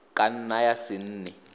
ka nna ya se nne